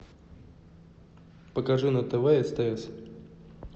покажи на тв стс